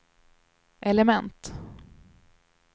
element